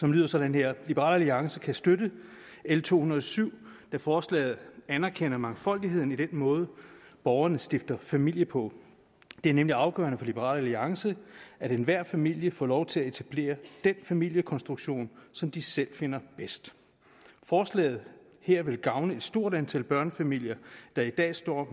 lyder sådan her liberal alliance kan støtte l to hundrede og syv da forslaget anerkender mangfoldigheden i den måde borgerne stifter familie på det er nemlig afgørende for liberal alliance at enhver familie får lov til at etablere den familiekonstruktion som de selv finder bedst forslaget her vil gavne et stort antal børnefamilier der i dag står